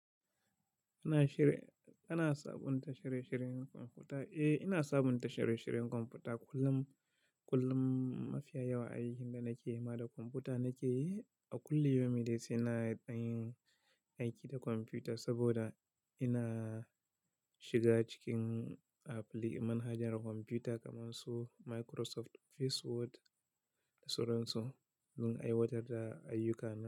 Ana shir-- ana sabunta shirye-shiryen kwamfuta? Eh, ina sabunta shirye-shiryen kwamfuta kullum, kullum mafiya yawa a yi. Inda nake ma da kwamfuta nake yi a kulli yomi da sai na ɗan yin aiki da kwamfuta saboda ina shiga cikin apli, manhajar kwamfuta kamar su Microsoft, Facebook da sauran su don aiwatar da ayyuka na.